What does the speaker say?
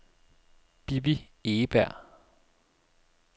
Bibi Egeberg